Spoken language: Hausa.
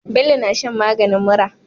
Bello na shan maganin mura